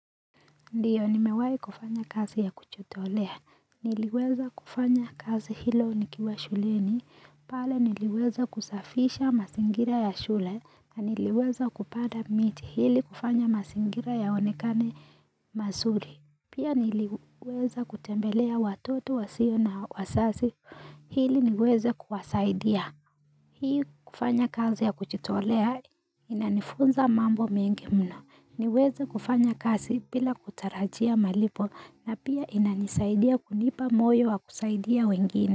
Ndiyo ni mewai kufanya kazi ya kujitolea. Niliweza kufanya kazi hilo nikiwa shuleni. Pala niliweza kusafisha masingira ya shule. Niliweza kupada miti hili kufanya masingira yaonekane masuri. Pia niliweza kutembelea watoto wasio na wasasi hili niweza kuwasaidia. Hii kufanya kazi ya kuchitolea inanifunza mambo mengi mna. Niweze kufanya kazi bila kutarajia malipo na pia inanisaidia kunipa moyo wa kusaidia wengine.